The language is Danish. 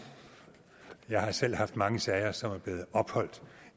jeg har selv haft mange sager som er blevet opholdt